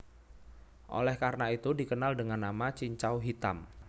Oleh karena itu dikenal dengan nama Cincau Hitam